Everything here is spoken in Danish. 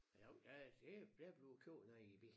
Men jo der er det der bliver kørt noget i bil